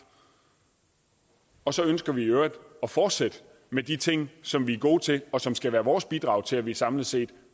og så ønsker vi i øvrigt at fortsætte med de ting som vi gode til og som skal være vores bidrag til at vi samlet set